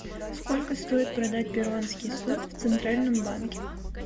сколько стоит продать перуанский соль в центральном банке